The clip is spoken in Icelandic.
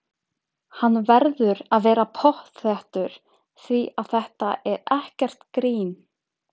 Hann verður að vera pottþéttur því að þetta er ekkert grín!